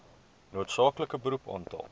noodsaaklike beroep aantal